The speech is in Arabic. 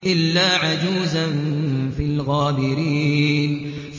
إِلَّا عَجُوزًا فِي الْغَابِرِينَ